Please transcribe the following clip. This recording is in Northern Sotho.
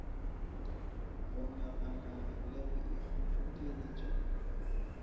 go nagana le go ikgobokeletpa